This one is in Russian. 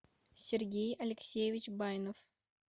сергей алексеевич байнов